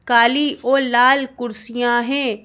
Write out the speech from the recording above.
काली और लाल कुर्सियां हैं।